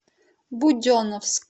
буденновск